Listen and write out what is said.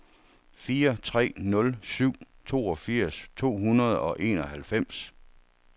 fire tre nul syv toogfirs to hundrede og enoghalvfems